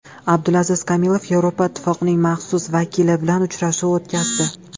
Abdulaziz Kamilov Yevropa Ittifoqining maxsus vakili bilan uchrashuv o‘tkazdi.